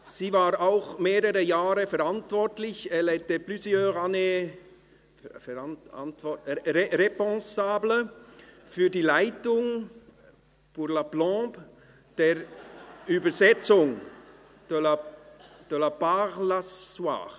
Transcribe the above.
Sie war auch mehrere Jahre verantwortlich – elle était plusieurs années responsable – für die Leitung – pour la plombe – der Übersetzung – de la parle-s’asseoir.